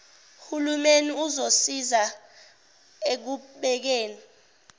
hulumeni uzosiza ekubekeni